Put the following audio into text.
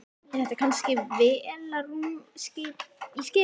Er þetta kannski vélarrúm í skipi?